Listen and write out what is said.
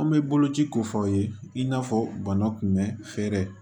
An bɛ bolo ci ko fɔ aw ye i n'a fɔ bana kunbɛn fɛɛrɛ